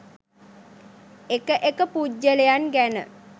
එක එක පුද්ගලයන් ගැන